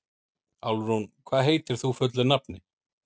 Álfrún, hvað heitir þú fullu nafni?